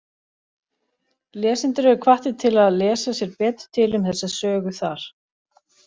Lesendur eru hvattir til að lesa sér betur til um þessa sögu þar.